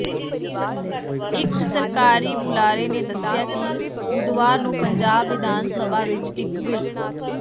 ਇੱਕ ਸਰਕਾਰੀ ਬੁਲਾਰੇ ਨੇ ਦੱਸਿਆ ਕਿ ਬੁੱਧਵਾਰ ਨੂੰ ਪੰਜਾਬ ਵਿਧਾਨ ਸਭਾ ਵਿਚ ਇਕ ਬਿੱਲ